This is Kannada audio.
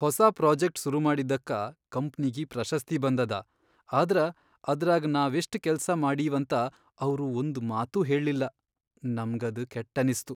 ಹೊಸಾ ಪ್ರೋಜೆಕ್ಟ್ ಸುರುಮಾಡಿದ್ದಕ್ಕ ಕಂಪ್ನಿಗಿ ಪ್ರಶಸ್ತಿ ಬಂದದ ಆದ್ರ ಅದ್ರಾಗ್ ನಾವೆಷ್ಟ್ ಕೆಲ್ಸಾ ಮಾಡೀವಂತ ಅವ್ರು ಒಂದ್ ಮಾತೂ ಹೇಳ್ಲಿಲ್ಲ ನಮ್ಗದ್ ಕೆಟ್ಟನಿಸ್ತು.